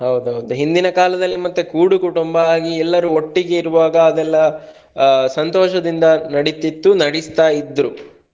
ಹೌದೌದು ಹಿಂದಿನ ಕಾಲದಲ್ಲಿ ಮತ್ತೆ ಕೂಡುಕುಟುಂಬ ಆಗಿ ಎಲ್ಲಾರು ಒಟ್ಟಿಗೆ ಇರುವಾಗ ಅದೆಲ್ಲ ಸಂತೋಷದಿಂದ ನೆಡಿತಿತ್ತು ನೆಡಿಸ್ತಾ ಇದ್ರು.